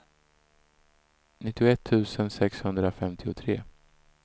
nittioett tusen sexhundrafemtiotre